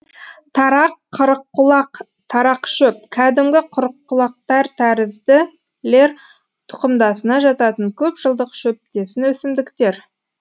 тарақ қырыққұлақ тарақшөп кәдімгі қырыққұлақтар тәрізділер тұқымдасына жататын көп жылдық шөптесін өсімдіктер